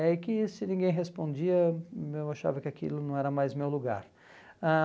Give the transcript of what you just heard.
É que se ninguém respondia, eu achava que aquilo não era mais meu lugar. Ãh